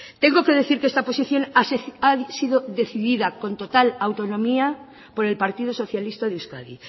tengo que decir que esta posición ha sido decidida con total autonomía por el partido socialista de euskadi